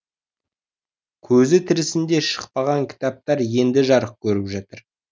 көзі тірісінде шықпаған кітаптар енді жарық көріп жатыр